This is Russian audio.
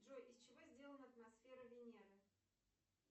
джой из чего сделана атмосфера венеры